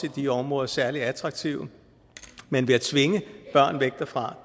i de områder særligt attraktive men at tvinge børn væk derfra